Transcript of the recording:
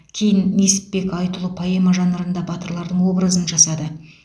кейін несіпбек айтұлы поэма жанрында батырлардың образын жасады